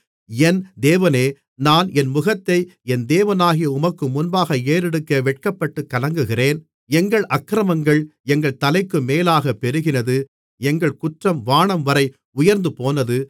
என் தேவனே நான் என் முகத்தை என் தேவனாகிய உமக்கு முன்பாக ஏறெடுக்க வெட்கப்பட்டுக் கலங்குகிறேன் எங்கள் அக்கிரமங்கள் எங்கள் தலைக்கு மேலாகப் பெருகினது எங்கள் குற்றம் வானம்வரை உயர்ந்துபோனது